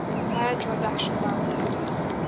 higher transaction amounts